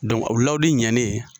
o lawudi ɲɛnen